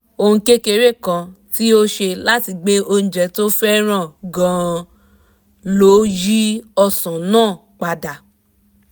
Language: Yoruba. ohun kékeré kan tí o ṣe láti gbé oúnjẹ tó fẹ́ràn gan-an ló yí ọ̀sán náà padà